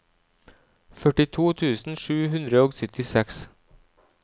førtito tusen sju hundre og syttiseks